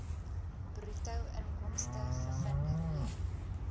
bruto inkomste gegenereer